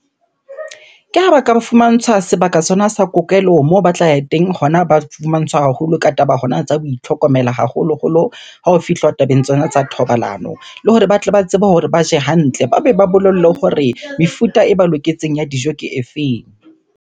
Ke ha ba ka ba fumantshwa sebaka sona sa kokelo moo ba tla ya teng, hona ba fumantshwa haholo ka taba hona tsa ho itlhokomela haholoholo ha ho fihlwa tabeng tsona tsa thobalano. Le hore ba tle ba tsebe hore ba je hantle, ba be ba bolellwe hore mefuta e ba loketseng ya dijo ke e feng?